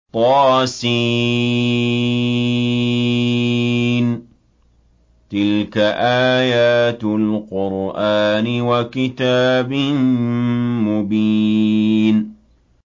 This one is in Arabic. طس ۚ تِلْكَ آيَاتُ الْقُرْآنِ وَكِتَابٍ مُّبِينٍ